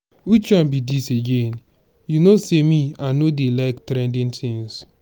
which one be dis again? you know say me i no dey like trending things.